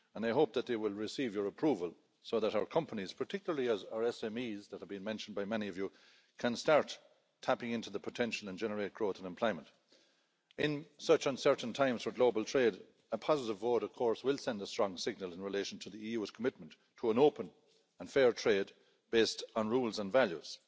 And I hope that they will receive your approval so that our companies, particularly our SMEs that have been mentioned by many of you, can start tapping into the potential and generate growth and employment. In such uncertain times for global trade, a positive vote of course will send a strong signal in relation to the EU's commitment to an open and fair trade based on rules and values.